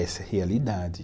Essa é a realidade.